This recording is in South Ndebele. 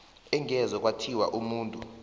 angeze kwathiwa umuntu